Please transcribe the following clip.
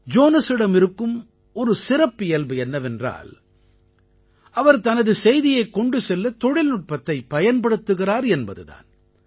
ஜோனஸிடம் இருக்கும் ஒரு சிறப்பியல்பு என்னவென்றால் அவர் தனது செய்தியைக் கொண்டு செல்ல தொழில்நுட்பத்தைப் பயன்படுத்துகிறார் என்பது தான்